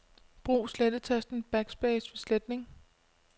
Brug slettetasten Backspace ved sletning.